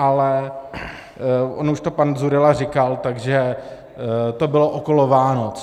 Ale on už to pan Dzurilla říkal, takže to bylo okolo Vánoc.